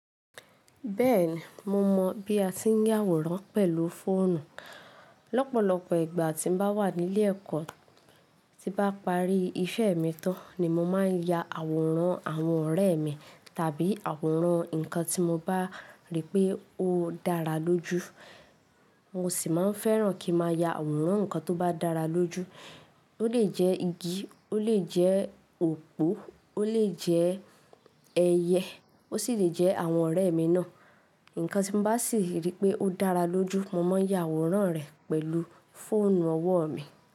Bẹ́ẹ̀ni, mo mọ̀ bí a ti ń yà àwòrán pẹ̀lú fóònù. Lọ́pọ̀lọ́pọ̀ ìgbà tí mo bá wà ní ilé ẹ̀kọ́, tí bá parí iṣẹ́ mi tán ni mo máa yà àwòrán àwọn ọ̀rẹ́ mi tàbí àwòrán nǹkan tí mo bá rí pé ó dára lójú. Mo sì máa ń fẹ́ràn kí ma ya àwòrán nǹkan tó bá dára lójú. Ó lè jẹ́ igi, ó lè jẹ́ òpó, ó lè jẹ́ ẹyẹ, ó sì lè jẹ́ àwọn ọ̀rẹ́ mi náà. Ǹkan tí mo bá sì rí pé ó dára lójú, mo máa yà àwòrán rẹ̀ pẹ̀lú fóònù ọwọ́ mi.